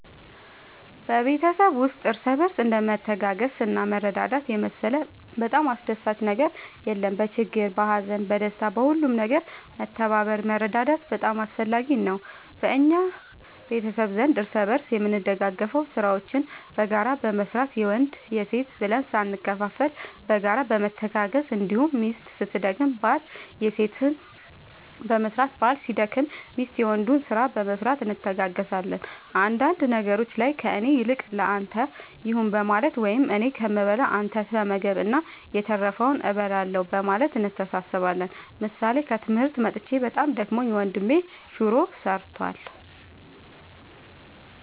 በቤተሰብ ውስጥ እርስ በርስ እንደ መተጋገዝና መረዳዳት የመሰለ በጣም አስደሳች ነገር የለም በችግር በሀዘን በደስታ በሁሉም ነገር መተባበር መረዳዳት በጣም አስፈላጊ ነገር ነው በእኛ ቤተሰብ ዘንድ እርስ በርስ የምንደጋገፈው ስራዎችን በጋራ በመስራት የወንድ የሴት ብለን ሳንከፋፈል በጋራ በመተጋገዝ እንዲሁም ሚስት ስትደክም ባል የሴትን በመስራት ባል ሲደክም ሚስት የወንዱን ስራ በመስራት እንተጋገዛለን አንዳንድ ነገሮች ላይ ከእኔ ይልቅ ለአንተ ይሁን በማለት ወይም እኔ ከምበላ አንተ ተመገብ እና የተረፈውን እበላለሁ በማለት እንተሳሰባለን ምሳሌ ከትምህርት መጥቼ በጣም ደክሞኝ ወንድሜ ሹሮ ሰርቷል።